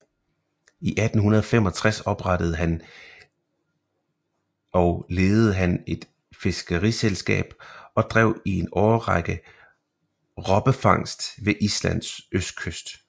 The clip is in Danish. I 1865 oprettede og ledede han et fiskeriselskab og drev i en årrække robbefangst ved Islands østkyst